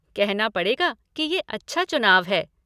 कहना पड़ेगा कि ये अच्छा चुनाव है।